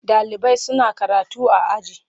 Ɗalibai suna karatu a aji.